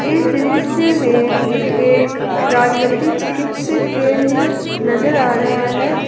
इस दृश्य में एक राजमती चिकित्सा केंद्र नजर आ रहा है।